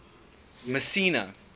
messina